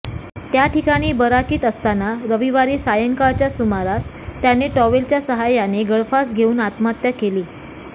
त्याठिकाणी बराकीत असताना रविवारी सायंकाळच्या सुमारास त्याने टॉवेलच्या सहायाने गळफास घेऊन आत्महत्या केली